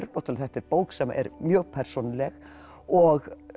þetta er bók sem er mjög persónuleg og